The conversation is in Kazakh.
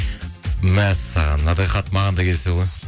мәссаған мынандай хат маған да келсе ғой